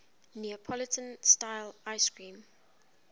neapolitan style ice cream